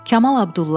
Kamal Abdulla.